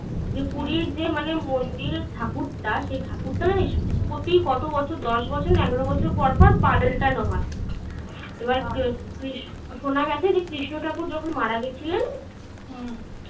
যে পুরীর যে মানে মন্দিরের ঠাকুরটা সেই ঠাকুরটা জানিস? প্রতি কত বছর দশ বছর, এগারো বছর পর পর পাল্টান হয়. এবার শোনা গেছে যে কৃষ্ণ ঠাকুর যখন মারা গেছিলেন. হুম.